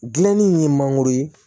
Gilanni ye mangoro ye